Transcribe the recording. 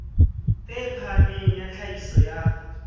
e phahameng ya tlhahiso ya